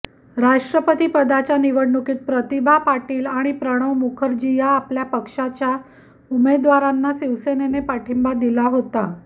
राष्ट्रपतीपदाच्या निवडणुकीत प्रतिभा पाटील आणि प्रणव मुखर्जी या आपल्या पक्षाच्या उमेदवारांना शिवसेनेने पाठींबा दिला होता